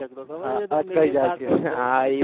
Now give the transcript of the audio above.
ખબર છે અટકાઈ જાય છે હા હા ઈ